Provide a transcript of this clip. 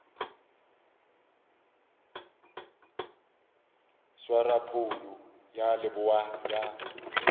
swara phoulo ya leboa ya